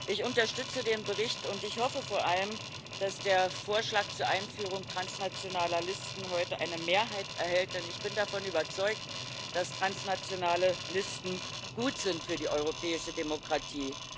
Ich unterstütze den Bericht, und ich hoffe vor allem, dass der Vorschlag zur Einführung transnationaler Listen heute eine Mehrheit erhält, denn ich bin davon überzeugt, dass transnationale Listen gut sind für die europäische Demokratie.